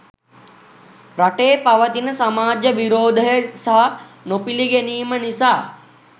රටේ පවතින සමාජ විරෝධය සහ නොපිළිගැනීම නිසා